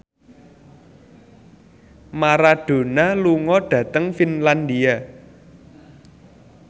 Maradona lunga dhateng Finlandia